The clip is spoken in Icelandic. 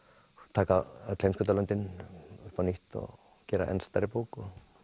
taka öll heimskautalöndin upp á nýtt og gera enn stærri bók